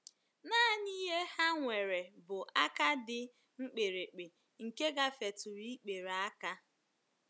Nanị ihe ha nwere bụ aka dị mkpirikpi nke gafetụrụ ikpere aka.